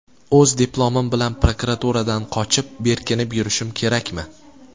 O‘z diplomim bilan prokuraturadan qochib, berkinib yurishim kerakmi?